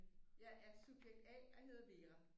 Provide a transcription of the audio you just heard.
Jeg er subjekt A og hedder Vera